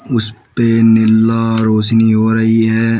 उस पे नीला रोशनी हो रही है।